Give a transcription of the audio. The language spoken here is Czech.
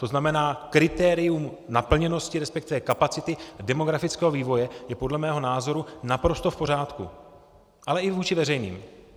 To znamená, kritérium naplněnosti, respektive kapacity demografického vývoje, je podle mého názoru naprosto v pořádku, ale i vůči veřejným.